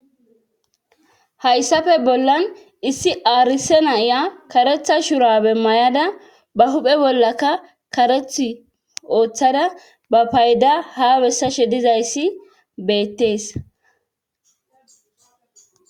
Hayssafe bollan issi aarise naiya karetha shurabe mayada ba huphe bollaka kareth ooththada ba payda habessashe dizayssi beettees